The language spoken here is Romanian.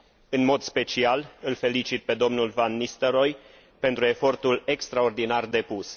În mod special, îl felicit pe dl van Nistelrooij pentru efortul extraordinar depus.